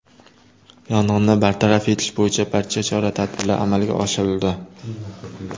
Yong‘inni bartaraf etish bo‘yicha barcha chora-tadbirlar amalga oshirildi.